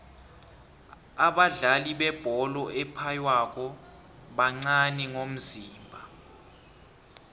abadlali bebholo ephaywako bancani ngomzimba